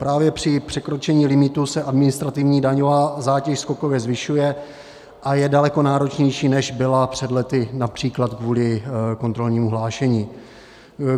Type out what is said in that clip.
Právě při překročení limitu se administrativní daňová zátěž skokově zvyšuje a je daleko náročnější, než byla před lety například kvůli kontrolnímu hlášení.